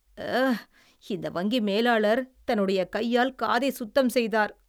அ... இந்த வங்கி மேலாளர் தன்னுடைய கையால் காதை சுத்தம் செய்தார்.